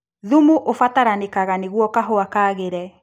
Thumu ũbatarĩkanaga nĩguo kahũa kagĩre.